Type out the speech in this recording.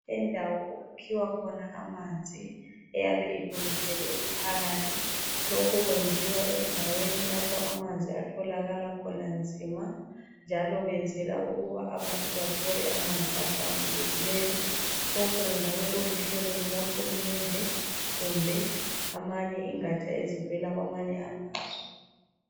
Indawo okukhiwa khona amanzi iyabe ilungiselwe umphakathi. Lokhu kwenziwa endaweni lapho amanzi atholakala khona nzima njalo benzela ukuba abantu bathole amanzi ahlambulukileyo. Lokhu kungabe kuluhlelo lukahulumende kumbe ezinye izingatsha ezivela kwamanye amazwe.